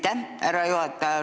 Aitäh, härra juhataja!